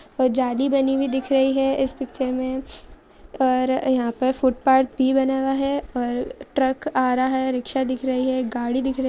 जाली बनी हुई दिख रही है इस पिक्चर में और यहाँ पे फुटपाथ भी बना हुआ है। और ट्रक आ रहा है। रिक्क्षा दिख रही है। गाडी दिख रे--